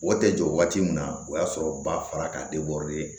O tɛ jɔ waati min na o y'a sɔrɔ ba fara ka